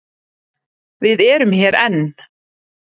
Við erum hér enn.